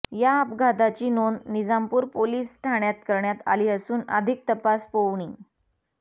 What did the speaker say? या अपघाताची नोंद निजामपूर पोलीस ठाण्यात करण्यात आली असून अधिक तपास पोउनि